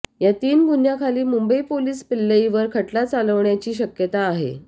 या तीन गुन्ह्यांखाली मुंबई पोलिस पिल्लईवर खटला चालवण्याची शक्यता आहे